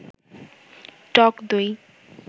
টক দই